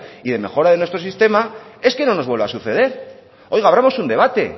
y de mejora de nuestro sistema es que no nos vuelva a suceder oiga abramos un debate